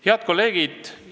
Head kolleegid!